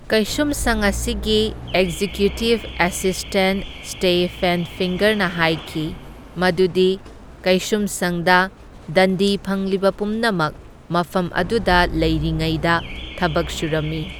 ꯀꯩꯁꯨꯝꯁꯪ ꯑꯁꯤꯒꯤ executive assistant Stephen ꯐꯤꯡꯒꯔꯅ ꯍꯥꯢꯈꯤ ꯃꯗꯨꯗꯤ ꯀꯩꯁꯨꯝꯁꯪꯗ ꯗꯟꯗꯤ ꯐꯪꯂꯤꯕ ꯄꯨꯝꯅꯃꯛ ꯃꯐꯝ ꯑꯗꯨꯗ ꯂꯩꯔꯤꯉꯩꯗ ꯊꯕꯛ ꯁꯨꯔꯝꯃꯤ꯫